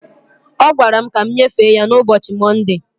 Ọ gwara m ka m nyefee ya na ụbọchi Mọnde